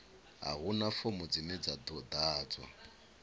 a huna fomo dzine dza ḓadzwa